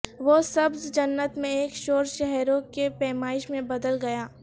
وہ سبز جنت میں ایک شور شہروں کی پیمائش میں بدل گیا